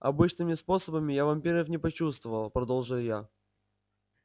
обычными способами я вампиров не почувствовал продолжил я